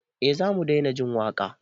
Eh zamu daina jin waƙa